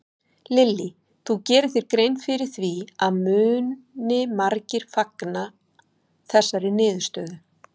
Lillý: Þú gerir þér grein fyrir því að muni margir fagna þessari niðurstöðu?